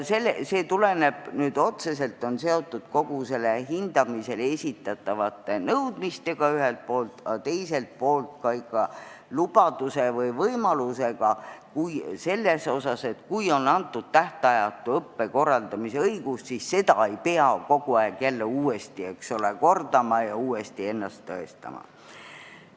See on otseselt seotud ühest küljest hindamisele esitatud nõudmistega, teisest küljest aga, kui on juba antud tähtajatu õppe korraldamise õigus, siis ei pea seda kogu aeg jälle uuesti kordama ja ennast tõestama.